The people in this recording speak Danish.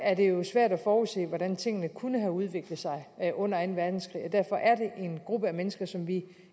er det jo svært at forudse hvordan tingene kunne have udviklet sig under anden verdenskrig derfor er det en gruppe mennesker som vi